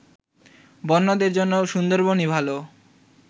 বন্যদের জন্য সুন্দরবনই ভালো